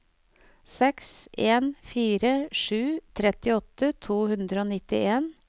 seks en fire sju trettiåtte to hundre og nittien